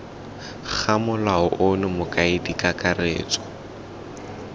ga molao ono mokaedi kakaretso